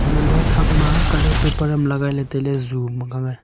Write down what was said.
antoh le thak ma colour paper am legai le tailey ju mekhea.